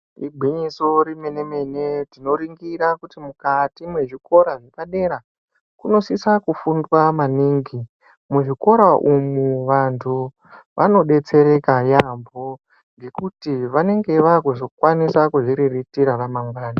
Igwinyiso remene tinoringira kuti mukati mwezvikora zvepadera kunosiswa kufundwa maningi. Muzvikora umu vantu vanodetsereka yaamho ngekuti vanenge vaakuzokwanisa kuzviriritira ramangwani.